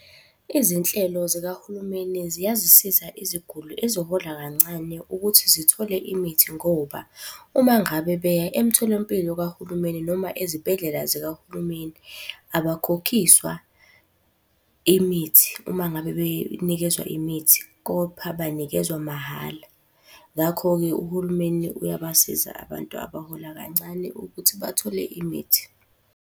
Izinhlelo zikahulumeni ziyazisiza iziguli ezihola kancane ukuthi zithole imithi ngoba, uma ngabe beya emtholampilo kahulumeni noma ezibhedlela zikahulumeni abakhokhiswa imithi uma ngabe benikezwa imithi, kopha banikezwa mahhala. Ngakho-ke, uhulumeni uyabasiza abantu abahola kancane ukuthi bathole imithi.